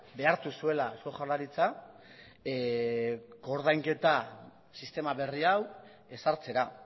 behartu zuela eusko jaurlaritza koordainketa sistema berri hau ezartzera